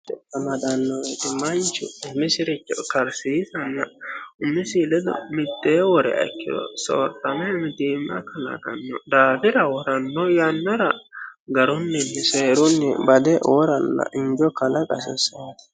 amadaanno iti manchu umisiricho karsiisanna umisi ledo mittee wore aikkiro soortame mitiima kalaqanno daafira woranno yannara garunninni seerunni bade woranna injo kalaqasissanno